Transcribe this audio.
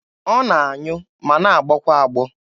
Ọ na-anyụ ma na-agbọ kwa agbọ.